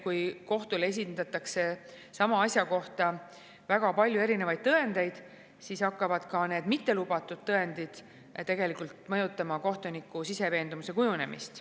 Kui kohtule esitatakse sama asja kohta väga palju erinevaid tõendeid, siis hakkavad ka mittelubatud tõendid tegelikult mõjutama kohtuniku siseveendumuse kujunemist.